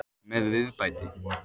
Með viðbæti.